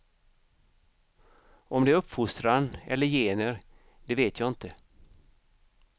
Om det är uppfostran eller gener, det vet jag inte.